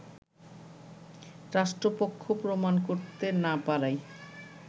রাষ্ট্রপক্ষ প্রমাণ করতে না পারায়